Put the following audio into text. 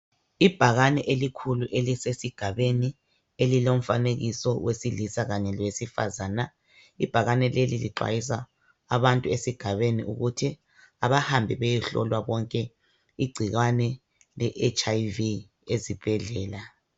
Ibhakane elikhulu elisesigabeni, elilomfanekiso wesililsa kanye lowesifazana. Ibhakane leli lixwayisa abantu esigabeni ukuthi abahambe beyehlolwa bonke igcikwane le HIV ezibhedlela